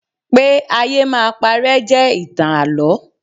Pé ayé máa paré jẹ́ ìtàn Àlọ́.